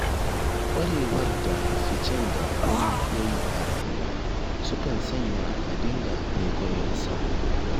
Ƙwarewar da ficen da wani ya yi a rayuwa sukan sanya a dinga kwaikwayon sa.